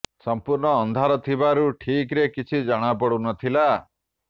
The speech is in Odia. ସଂପୂର୍ଣ୍ଣ ଅନ୍ଧାର ଥିବାରୁ ଠିକରେ କିଛି ଜଣା ପଡୁ ନଥିଲା